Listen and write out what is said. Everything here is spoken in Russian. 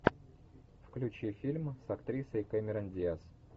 включи фильмы с актрисой кэмерон диаз